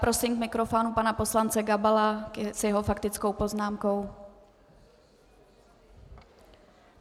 Prosím k mikrofonu pana poslance Gabala s jeho faktickou poznámkou.